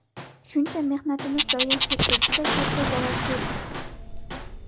Shuncha mehnatimiz zoye ketdi, juda katta zarar ko‘rdik.